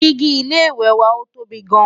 Digi ilé ìwé wà ọ tóbi gaan